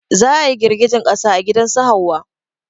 Za a girgejen ƙasa a gidan su Hauwa